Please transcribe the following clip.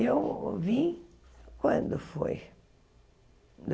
E eu vim, quando foi?